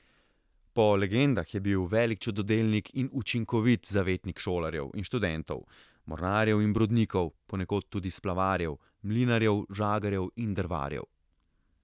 Po legendah je bil velik čudodelnik in učinkovit zavetnik šolarjev in študentov, mornarjev in brodnikov, ponekod tudi splavarjev, mlinarjev, žagarjev in drvarjev.